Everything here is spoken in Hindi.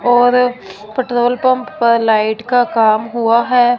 और पेट्रोल पंप पर लाइट का काम हुआ है।